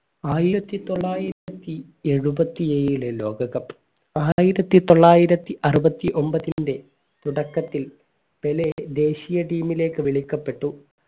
ആയിരത്തി തൊള്ളായിരത്തിഎഴുപ്പത്തിയേഴിലെ ലോക cup ആയിരത്തി തൊള്ളായിരത്തി അറുപത്തി ഒൻപതിന്റെ തുടക്കത്തിൽ പെലെ ദേശീയ ടീമിലേക്ക് വിളിക്കപ്പെട്ടു